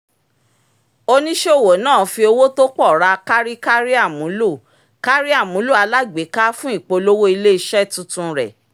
oníṣòwò náà fi owó tó pọ̀ ra kárí kárí àmúlò kárí àmúlò alágbèéká fún ìpolówó ilé iṣẹ́ tuntun rẹ